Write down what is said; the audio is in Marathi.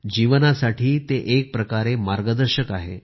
जीवनासाठी ते एक प्रकारे ते मार्गदर्शक आहे